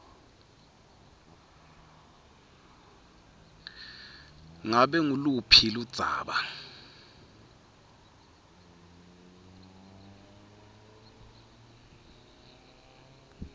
ngabe nguluphi ludzaba